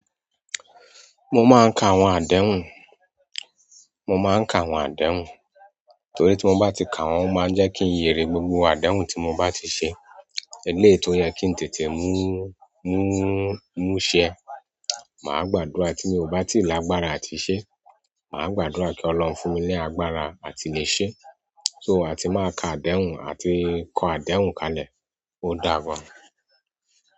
Mo máa ń ka àwọn àdéhùn, mo máa ń ka àwọn àdéhùn torí tí mo bá ti ka wọ́n o máa ń jẹ́ kí n lerí gbogbo àdéhùn tí mo bá ti ṣe. Eléyìí tó yẹ kí n tètè múṣẹ. Maa gbàdúrà ti mi o ba ti lágbára àti se. Màá gbàdúrà kí Ọlọ́run fún mi ní agbára àti le ṣé. So a ti máa ka àdéhùn àti kó àdéhùn kalẹ̀. Ó dà fà.